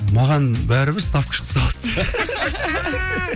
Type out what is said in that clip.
маған бәрібір ставка шықса болды